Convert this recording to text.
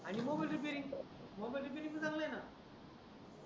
आणि mobile repairing, mobile repairing पण चांगल आहे णा